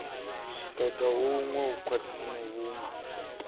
ṱoḓa huṅwe u khwiṋiswa vhunga